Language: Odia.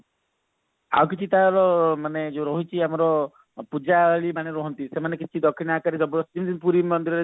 ଆଉ କିଛି ତାର ମାନେ ଯୋଉ ରହୁଛି ଆମର ପୂଜାରୀ ମାନେ ରହନ୍ତି ସେମାନେ କିଛି ଦକ୍ଷିଣା ଆକାରରେ ଜବରଦସ୍ତି ପୁରୀ ମନ୍ଦିର ରେ